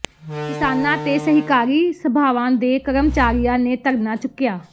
ਕਿਸਾਨਾਂ ਤੇ ਸਹਿਕਾਰੀ ਸਭਾਵਾਂ ਦੇ ਕਰਮਚਾਰੀਆ ਨੇ ਧਰਨਾ ਚੁੱਕਿਆ